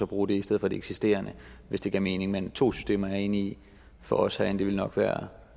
bruge det i stedet for det eksisterende hvis det gav mening men to systemer er jeg enig i for os herinde ville nok være